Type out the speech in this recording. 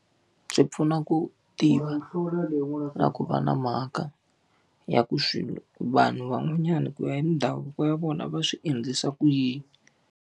Swi pfuna ku tiva na ku va na mhaka ya ku swilo vanhu van'wanyana ku ya hi ndhavuko ya vona va swi endlisa ku yini.